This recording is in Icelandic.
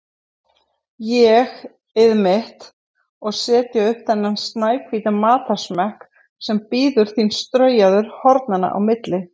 ÉG-ið mitt, og setja upp þennan snæhvíta matarsmekk sem bíður þín straujaður hornanna á milli.